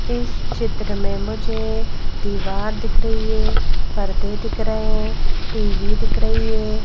इस चित्र में मुझे दीवार दिख रही है पर्दे दिख रहे हैं टी_वी दिख रही है।